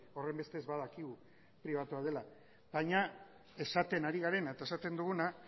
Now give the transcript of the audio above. horrenbestez badakigu pribatua dela baina esaten ari garena eta esaten duguna